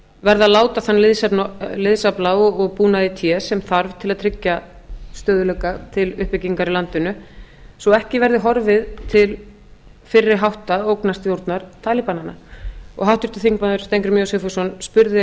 verða að láta þann liðsafla og útbúnað í té sem þarf til að tryggja stöðugleika til uppbyggingar í landinu svo ekki verði horfið til fyrri hátta ógnarstjórnar talibananna og háttvirtur þingmaður steingrímur j sigfússon spurði